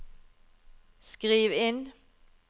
skriv inn